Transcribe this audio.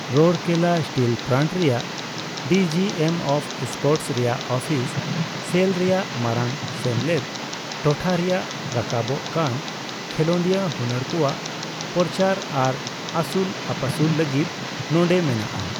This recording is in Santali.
ᱨᱳᱨᱠᱮᱞᱞᱟ ᱥᱴᱤᱞ ᱯᱞᱟᱱᱴ ᱨᱮᱭᱟᱜ ᱰᱤᱡᱤᱮᱢ ᱚᱯᱷ ᱥᱯᱳᱨᱚᱴᱥ ᱨᱮᱭᱟᱜ ᱚᱯᱷᱤᱥ, ᱥᱮᱞ ᱨᱮᱭᱟᱜ ᱢᱟᱨᱟᱝ ᱥᱮᱢᱞᱮᱫ, ᱴᱚᱴᱷᱟᱨᱮᱭᱟᱜ ᱨᱟᱠᱟᱵᱚᱠ ᱠᱟᱱ ᱠᱷᱮᱞᱚᱰᱤᱭᱟᱹ ᱦᱩᱱᱟᱹᱨ ᱠᱚᱣᱟᱜ ᱯᱚᱨᱪᱟᱨ ᱟᱨ ᱟᱹᱥᱩᱞᱼᱟᱹᱯᱟᱹᱥᱩᱞ ᱞᱟᱹᱜᱤᱫ ᱱᱚᱸᱰᱮ ᱢᱮᱱᱟᱜᱼᱟ ᱾